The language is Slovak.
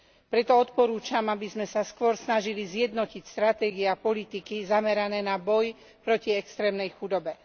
Preto odporúčam, aby sme sa skôr snažili zjednotiť stratégie a politiky zamerané na boj proti extrémnej chudobe.